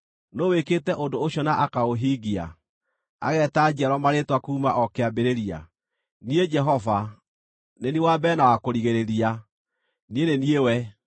Nũũ wĩkĩte ũndũ ũcio na akaũhingia, ageeta njiarwa marĩĩtwa kuuma o kĩambĩrĩria? Niĩ Jehova, nĩ niĩ wa mbere na wa kũrigĩrĩria; niĩ nĩ niĩ we.”